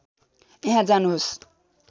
यहाँ जानुहोस्